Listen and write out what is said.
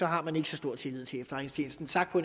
har man ikke så stor tillid til efterretningstjenesten sagt på